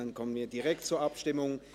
Dann kommen wir direkt zur Abstimmung.